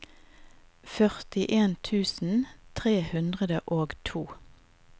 førtien tusen tre hundre og to